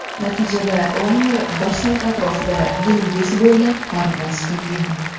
Natijada layner bir soat atrofida dengiz bo‘ylab parvoz qilgan.